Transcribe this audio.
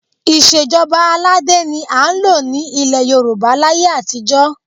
Ìṣe ìjọba aládé ni à ń lò ní ilẹ̀ Yorùbá láyé àtijọ́